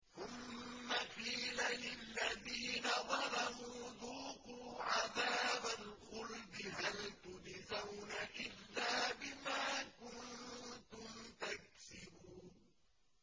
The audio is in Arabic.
ثُمَّ قِيلَ لِلَّذِينَ ظَلَمُوا ذُوقُوا عَذَابَ الْخُلْدِ هَلْ تُجْزَوْنَ إِلَّا بِمَا كُنتُمْ تَكْسِبُونَ